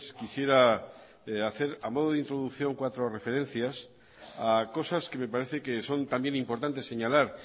quisiera hacer a modo de introducción cuatro referencias a cosas que me parece que son también importantes señalar